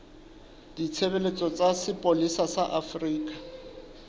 ditshebeletso tsa sepolesa sa afrika